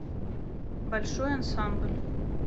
большой ансамбль